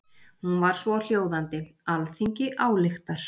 Hún var svohljóðandi: Alþingi ályktar